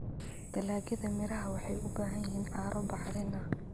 Dalagyada miraha waxay u baahan yihiin carro bacrin ah.